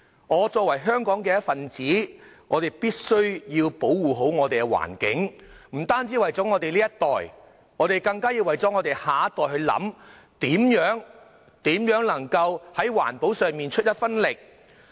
我作為香港的一分子，必須保護好環境，不單為了我們這一代，更為了下一代設想，在環保上出一分力。